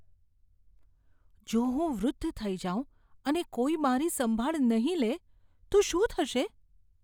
જો હું વૃદ્ધ થઈ જાઉં અને કોઈ મારી સંભાળ નહીં લે તો શું થશે?